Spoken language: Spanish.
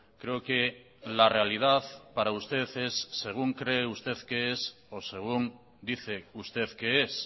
creo que la realidad para usted es según cree usted que es o según dice usted que es